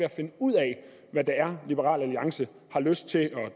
at finde ud af hvad det er liberal alliance har lyst til at